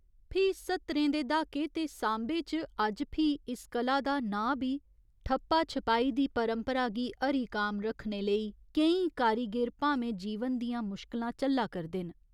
फ्ही सत्तरें दे द्हाके ते सांबे च अज्ज फ्ही इस कला दा नांऽ बी ठप्पा छपाई दी परंपरा गी हरिकाम रक्खने लेई केईं कारीगिर भामें जीवन दियां मुशकलां झल्ला करदे न।